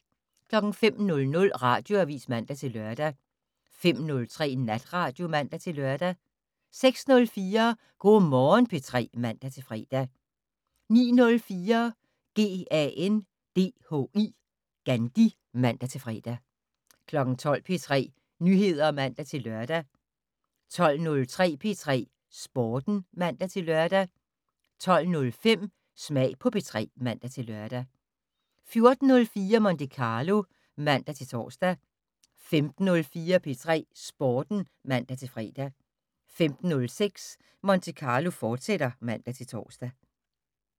05:00: Radioavis (man-lør) 05:03: Natradio (man-lør) 06:04: Go' Morgen P3 (man-fre) 09:04: GANDHI (man-fre) 12:00: P3 Nyheder (man-lør) 12:03: P3 Sporten (man-lør) 12:05: Smag på P3 (man-lør) 14:04: Monte Carlo (man-tor) 15:04: P3 Sporten (man-fre) 15:06: Monte Carlo, fortsat (man-tor)